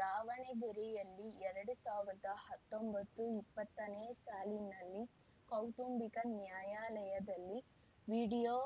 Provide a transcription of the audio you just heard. ದಾವಣಗೆರೆಯಲ್ಲಿ ಎರಡು ಸಾವಿರದ ಹತ್ತೊಂಬತ್ತುಇಪ್ಪತ್ತನೇ ಸಾಲಿನಲ್ಲಿ ಕೌಟುಂಬಿಕ ನ್ಯಾಯಾಲಯದಲ್ಲಿ ವೀಡಿಯೋ